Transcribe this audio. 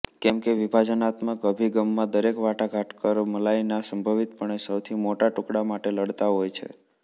કેમકે વિભાજનાત્મક અભિગમમાં દરેક વાટાઘાટકાર મલાઈના સંભવિતપણે સૌથી મોટા ટુકડા માટે લડતા હોય છે